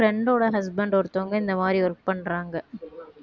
friend டோட husband ஒருத்தவங்க இந்த மாதிரி work பண்றாங்க